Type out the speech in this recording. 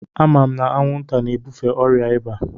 Ama m na anwụnta na-ebufe ọrịa ịba.